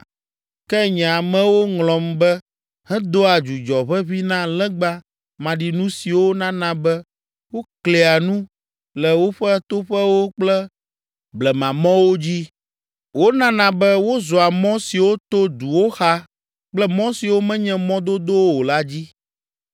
Ke nye amewo ŋlɔm be hedoa dzudzɔ ʋeʋĩ na legba maɖinu siwo nana be woklia nu le woƒe toƒewo kple blemamɔwo dzi. Wonana be wozɔa mɔ siwo to duwo xa kple mɔ siwo menye mɔ dodowo o la dzi.